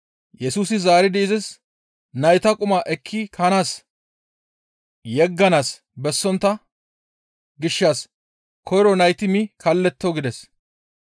Yesusi zaaridi izis, «Nayta quma ekki kanas yegganaas bessontta gishshas koyro nayti mi kalletto» gides.